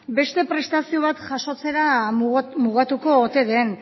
beste prestazio bat jasotzera mugatuko ote den